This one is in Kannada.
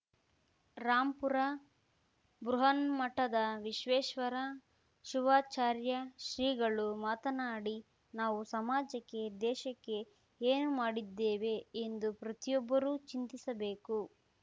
ರಾಂಪುರ ಬೃಹನ್ಮಠದ ವಿಶ್ವೇಶ್ವರ ಶಿವಾಚಾರ್ಯ ಶ್ರೀಗಳು ಮಾತನಾಡಿ ನಾವು ಸಮಾಜಕ್ಕೆ ದೇಶಕ್ಕೆ ಏನು ಮಾಡಿದ್ದೇವೆ ಎಂದು ಪ್ರತಿಯೊಬ್ಬರೂ ಚಿಂತಿಸಬೇಕು